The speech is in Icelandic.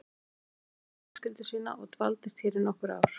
Hann fluttist hingað með fjölskyldu sína og dvaldist hér í nokkur ár.